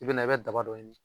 I bɛ na i bɛ daba dɔ ɲini